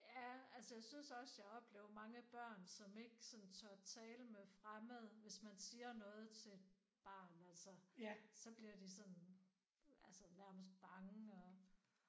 Ja altså jeg synes også jeg oplever mange børn som ikke sådan tør tale fremmede hvis man siger noget til et barn altså så bliver de sådan altså nærmest bange og